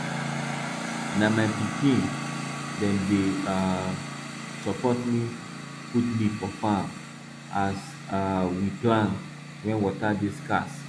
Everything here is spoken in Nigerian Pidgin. na my pikin dem dey um support me put leaf for farm as um we plan when water dey scarce